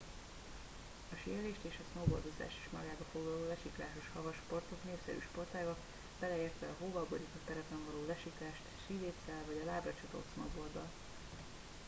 a síelést és a snowboardozást is magában foglaló lesiklásos havas sportok népszerű sportágak beleértve a hóval borított terepen való lesiklást síléccel vagy a lábra csatolt snowboarddal